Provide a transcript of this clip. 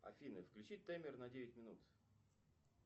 афина включи таймер на девять минут